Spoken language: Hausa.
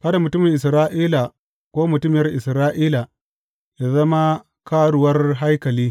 Kada mutumin Isra’ila ko mutuniyar Isra’ila yă zama karuwar haikali.